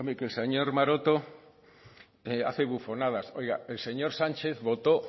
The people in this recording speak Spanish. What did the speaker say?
que el señor maroto hace bufonadas oiga el señor sánchez votó